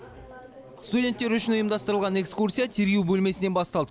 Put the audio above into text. студенттер үшін ұйымдастырылған экскурсия тергеу бөлмесінен басталды